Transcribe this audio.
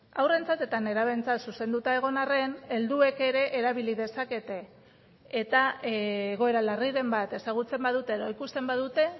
haurrentzat eta nerabeentzat zuzenduta egon harren helduek ere erabili dezakete eta egoera larriren bat ezagutzen badute edo ikusten badute